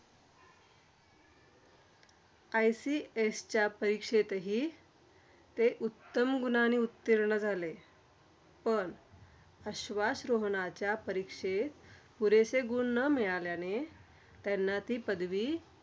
ICS च्या परीक्षेतही ते उत्तम गुणांनी उत्तीर्ण झाले. पण आश्वासरोहणाच्या परीक्षेत पुरेसे गुण न मिळाल्याने, त्यांना ती पदवी